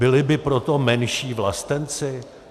Byli by proto menší vlastenci?